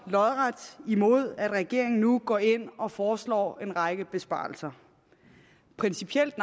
imod at regeringen nu går ind og foreslår en række besparelser principielt